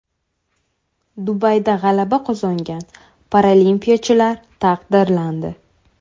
Dubayda g‘alaba qozongan paralimpiyachilar taqdirlandi.